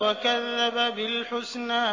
وَكَذَّبَ بِالْحُسْنَىٰ